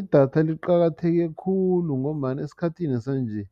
Idatha liqakatheke khulu ngombana esikhathini sanje